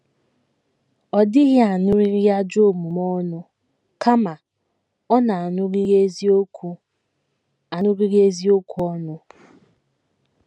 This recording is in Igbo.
Ọ dịghị aṅụrịrị ajọ omume ọṅụ, kama ọ na - aṅụrịrị eziokwu - aṅụrịrị eziokwu ọṅụ.